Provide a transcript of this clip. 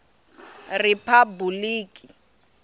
riphabuliki